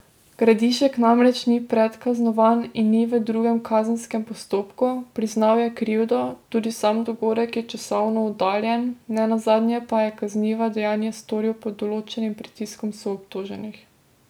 Gradišek namreč ni predkaznovan in ni v drugem kazenskem postopku, priznal je krivdo, tudi sam dogodek je časovno oddaljen, nenazadnje pa je kazniva dejanja storil pod določenim pritiskom soobtoženih.